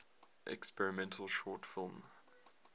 experimental short film